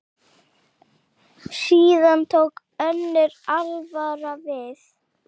Síðan tók önnur alvara við.